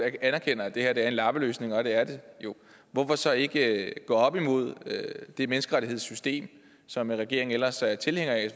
anerkender at det her er en lappeløsning og det er det jo hvorfor så ikke gå op imod det menneskerettighedssystem som regeringen ellers er tilhænger af